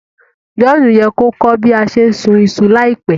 John ye ko kọ́ bi a se n sùn isu láìpẹ́